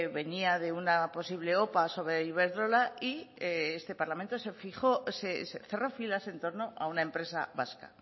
venía de una posible opa sobre iberdrola y este parlamento cerró filas en torno a una empresa vasca